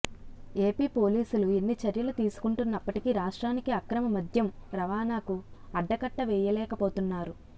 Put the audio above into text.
AP పోలీసులు ఎన్ని చర్యలు తీసుకుంటున్నప్పటికీ రాష్ట్రానికి అక్రమ మద్యం రవాణాకు అడ్డకట్టవేయలేకపోతున్నారు